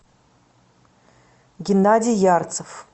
геннадий ярцев